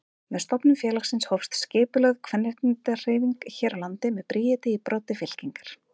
Með stofnun félagsins hófst skipulögð kvenréttindahreyfing hér á landi með Bríeti í broddi fylkingar.